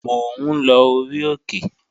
Mò ń lọ orí òkè